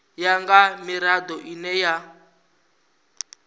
ya nga mirado ine ya